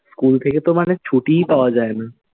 School থেকে তো মানে ছুটিই পাওয়া যায় না।